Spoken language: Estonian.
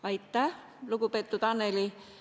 Aitäh, lugupeetud Annely!